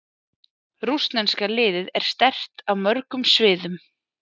Rússneska liðið er sterkt á mörgum sviðum.